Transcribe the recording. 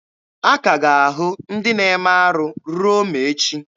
A ka ga-ahụ ndị na-eme arụ ruo ma echi.